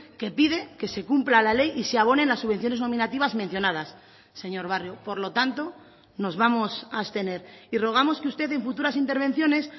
que pide que se cumpla la ley y se abonen las subvenciones nominativas mencionadas señor barrio por lo tanto nos vamos a abstener y rogamos que usted en futuras intervenciones